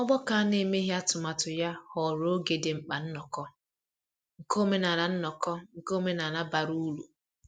Ọgbakọ a na-emeghị atụmatụ ya ghọrọ oge di mkpa nnoko nke omenala nnoko nke omenala bara uru.